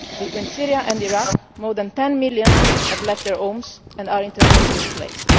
Between Syria and Iraq, more than 10 million have left their homes and are internally displaced.